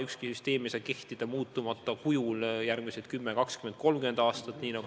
Ükski süsteem ei saa kehtida muutmata kujul järgmised 10, 20, 30 aastat.